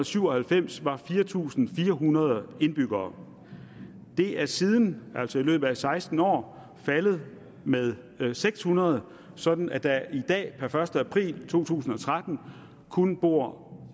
syv og halvfems var fire tusind fire hundrede indbyggere det er siden altså i løbet af seksten år faldet med seks hundrede sådan at der i dag per første april to tusind og tretten kun bor